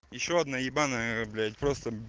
ещё одна ебаная блять просто